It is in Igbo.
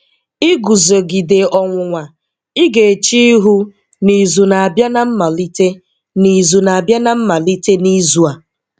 Ìgúzógídè ọnwụ́nwà ị́ gà-èché íhú n’ìzù ná-àbíà n’àmàlítè n’ìzù ná-àbíà n’àmàlítè n’ìzù à